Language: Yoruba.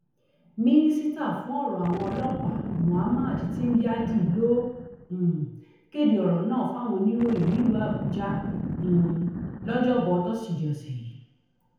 mínísítà fún ọrọ àwọn ọlọpàá muhammad tingyadi ló um kéde ọrọ náà fáwọn oníròyìn nílùú àbújá um lọjọbọ tosidee ọsẹ yìí